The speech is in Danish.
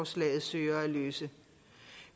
synes